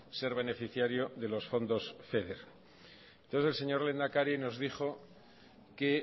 ser beneficiario de los fondos feder entonces el señor lehendakari nos dijo que